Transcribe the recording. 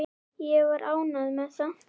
Ég var ánægð með það.